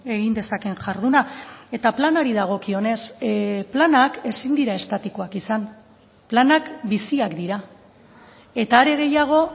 egin dezakeen jarduna eta planari dagokionez planak ezin dira estatikoak izan planak biziak dira eta are gehiago